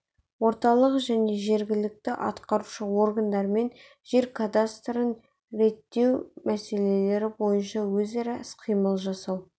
орталық және жергілікті атқарушы органдармен жер қатынастарын реттеу мәселелері бойынша өзара іс-қимыл жасау